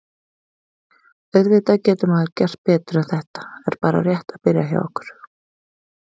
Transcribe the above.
Auðvitað getur maður gert betur en þetta er bara rétt að byrja hjá okkur.